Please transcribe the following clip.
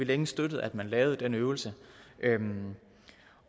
længe støttet at man lavede den øvelse